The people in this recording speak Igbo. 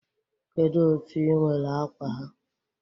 Kedu otu i nwere akwa ha?